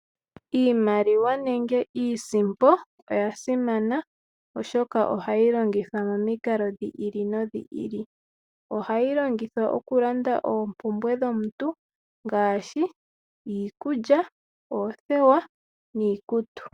Iimaliwa nenge iisimpo oyasimana oshoka ohayi longithwa momikalo dhi ili nodhi ili. Ohayi longithwa okulanda oompumbwe dhomuntu ngaashi iikulya, oothewa niikutu.